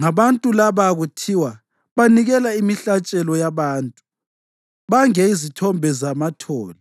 Ngabantu laba kuthiwa, “Banikela imihlatshelo yabantu, bange izithombe zamathole.”